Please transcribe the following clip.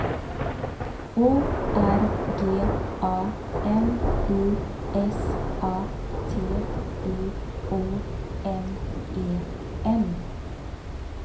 O R G A N I S A T I O N E N